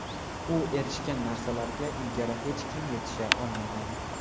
U erishgan narsalarga ilgari hech kim yetisha olmagan.